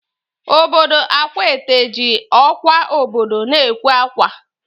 Obodo Akwaete ji ọkwa obodo na-ekwe akwa